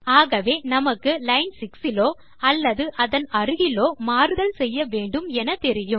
ஆகவே நமக்கு லைன் 6 இலோ அல்லது அதன் அருகிலோ மாறுதல் செய்ய வேண்டும் எனத்தெரியும்